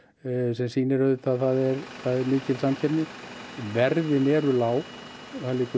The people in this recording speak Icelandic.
sem sýnir að það er mikil samkeppni verðin eru lág það liggur